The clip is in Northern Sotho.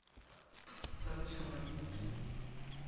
t sa setshaba ke t